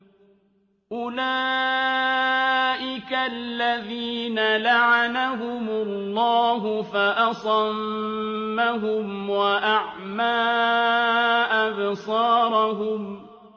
أُولَٰئِكَ الَّذِينَ لَعَنَهُمُ اللَّهُ فَأَصَمَّهُمْ وَأَعْمَىٰ أَبْصَارَهُمْ